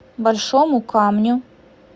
большому камню